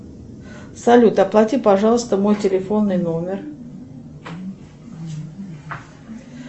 салют оплати пожалуйста мой телефонный номер